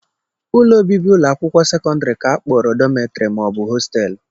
Ụlọ obibi ụlọakwụkwọ sekọndịrị ka a kpọrọ dọmịtọrị maọbụ hosteelụ